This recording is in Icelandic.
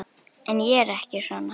En ég er ekki svona.